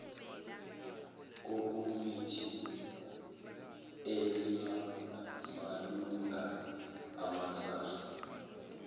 kukomiti elinamalungu amathathu